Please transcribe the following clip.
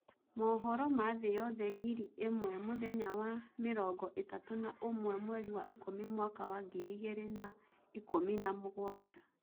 Mũhoro ma thĩ yoothe ngiri ĩmwe mũthenya wa mĩrongo ĩtatũ na ũmwe mweri wa ikũmi mwaka wa ngiri igĩrĩ na ikũmi na mũgwanja